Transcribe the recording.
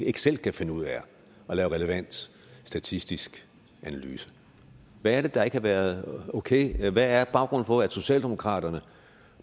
ikke selv kan finde ud af at lave relevant statistisk analyse hvad er det der ikke har været okay hvad er baggrunden for at socialdemokratiet